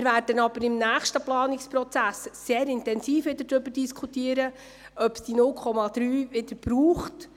Wir werden im nächsten Planungsprozess wieder intensiv darüber diskutieren, ob es diese 0,3 Prozent wieder braucht.